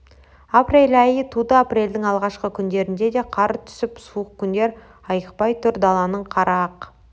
апрель айы туды апрельдің алғашқы күндерінде де қар түсіп суық күндер айықпай тұр даланың қары ақ